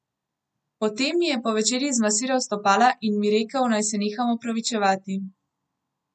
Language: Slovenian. Potem mi je po večerji zmasiral stopala in mi rekel, naj se neham opravičevati.